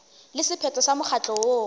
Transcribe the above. le sephetho sa mokgatlo woo